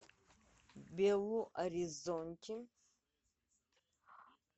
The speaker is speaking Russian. белу оризонти